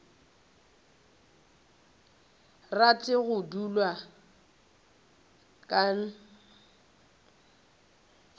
rate go dulwa ke nt